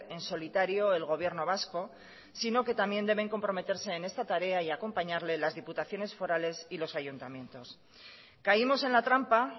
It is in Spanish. en solitario el gobierno vasco sino que también deben comprometerse en esta tarea y acompañarle las diputaciones forales y los ayuntamientos caímos en la trampa